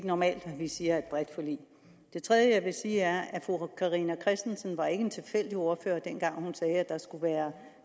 normalt siger er et bredt forlig det tredje jeg vil sige er at fru carina christensen ikke var en tilfældig ordfører dengang hun sagde at der skulle være